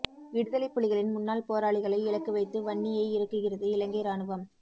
விடுதலைப் புலிகளின் முன்னாள் போராளிகளை இலக்கு வைத்து வன்னியை இறுக்குகிறது இலங்கை இராணுவம்